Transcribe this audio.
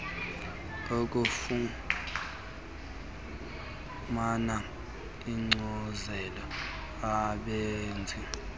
ufumane inkcazelo ebanzi